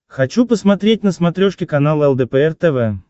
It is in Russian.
хочу посмотреть на смотрешке канал лдпр тв